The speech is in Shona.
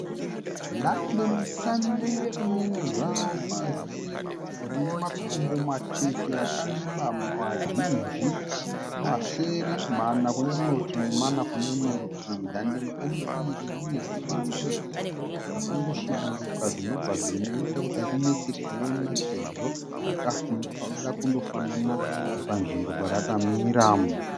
Dandemutande rakamira zvaro pasi. Rine makumbo matete, akareba, mazhinji, masere, mana kune rimwe rutivi nemana kune rimwe rutivi. Dandemutande iri rine zvimadodzi zvakandosviburuka zvinobva zvinoita kuti rinetse kuona sezvo rakada kundofanana panzvimbo parakamira.